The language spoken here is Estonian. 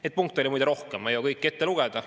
Neid punkte on muide rohkem, ma ei jõudnud kõiki ette lugeda.